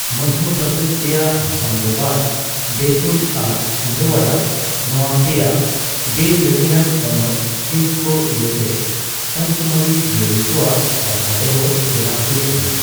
ᱢᱚᱫᱷᱚᱯᱚᱨᱫᱮᱥ ᱨᱮᱭᱟᱜ ᱦᱳᱥᱟᱝᱜᱚᱵᱟᱫ, ᱵᱮᱛᱩᱞ ᱟᱨ ᱪᱷᱤᱱᱫᱳᱭᱟᱲᱟ ᱱᱚᱣᱟ ᱯᱮᱭᱟ ᱵᱮᱼᱞᱟᱹᱲᱦᱟᱹᱭᱟᱱ ᱦᱚᱱᱚᱛ ᱦᱤᱸᱥ ᱠᱚ ᱤᱭᱟᱹᱛᱮ ᱯᱟᱸᱪᱢᱟᱨᱤ ᱡᱤᱭᱟᱹᱞᱤ ᱠᱚᱣᱟᱜ ᱨᱟᱠᱷᱟ ᱫᱚᱦᱚ ᱵᱮᱱᱟᱣ ᱦᱩᱭᱟᱠᱟᱱᱟ ᱾